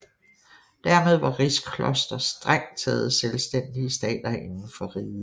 Dermed var rigsklostre strengt taget selvstændige stater inden for riget